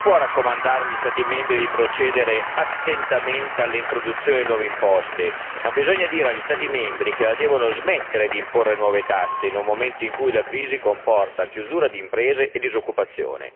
Non si può raccomandare agli Stati membri di procedere attentamente all'introduzione di nuove imposte, occorre invece dire agli Stati membri che la devono smettere di imporre nuove tasse in un momento in cui la crisi comporta la chiusura di imprese e disoccupazione.